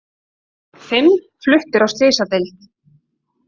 Fimm fluttir á slysadeild